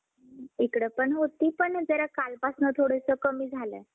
इकडं पण होती. पण जरा कालपासनं थोडंसं कमी झालंय.